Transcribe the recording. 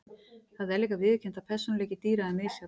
Það er líka viðurkennt að persónuleiki dýra er misjafn.